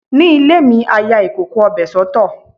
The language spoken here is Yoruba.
Ní ilé mi, a ya ìkòkò ọbẹ̀ soto.